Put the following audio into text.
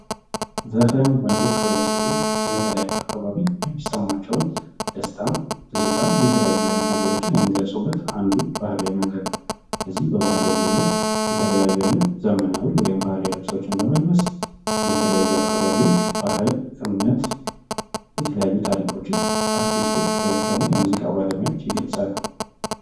ዘፈን ወንዶች ወይም ሴቶች ስለተለያዩ አካባቢዎች የሚሰማቸውን ነገር ትዝታንም እንደዚሁም የተለያዩ ነገሮችን የሚገልፁበት ባህላዊ መንገድ ነው በዚህ ባህላዊ መንገድ የተለያዩ አይነት ዘመናዊ ወይም ባህላዊ ልብሶችን በመልበስ ከተለያዩ ብሄሮች ባህል እምነት እና ታሪኮች አርቲስቶች ወይም የሙዚቃ ባለሙያዎች ይገልፃሉ።